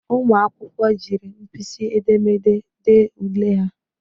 Ụmụ akwụkwọ jiri mpịsị edemede ďee ule ha.